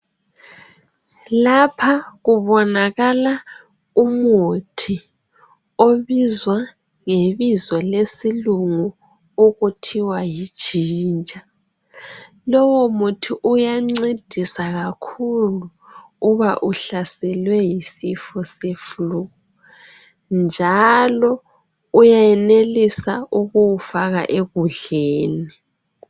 Lapha kubonakala umuthi obizwa ngebizo lesilungu okuthiwa yijinja. Lowomuthi uyancedisa kakhulu uba uhlaselwe yisifo seflu njalo uyenelisa ukuwufaka ukudleni.